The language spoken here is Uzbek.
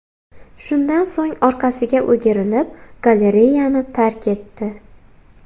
Shundan so‘ng orqasiga o‘girilib, galereyani tark etdi.